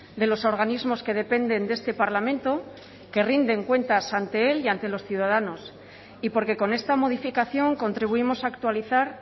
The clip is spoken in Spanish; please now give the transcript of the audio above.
de los organismos que dependen de este parlamento que rinden cuentas ante él y ante los ciudadanos y porque con esta modificación contribuimos actualizar